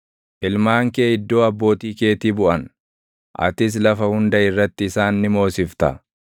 Ilmaan kee iddoo abbootii keetii buʼan; atis lafa hunda irratti isaan ni moosifta.